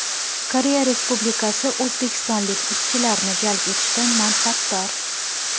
Koreya Respublikasi o‘zbekistonlik ishchilarni jalb etishdan manfaatdor.